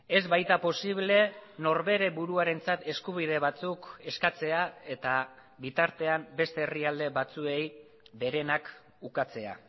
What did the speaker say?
ez baita posible norbere buruarentzat eskubide batzuk eskatzea eta bitartean beste herrialde batzuei berenak ukatzea